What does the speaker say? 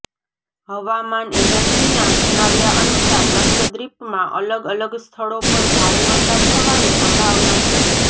હવામાન એજન્સીના જણાવ્યા અનુસાર લક્ષદ્વીપમાં અલગ અલગ સ્થળો પર ભારે વરસાદ થવાની સંભાવના છે